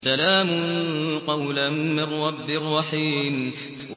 سَلَامٌ قَوْلًا مِّن رَّبٍّ رَّحِيمٍ